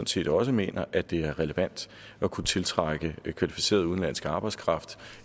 set også mener at det er relevant at kunne tiltrække højt kvalificeret udenlandsk arbejdskraft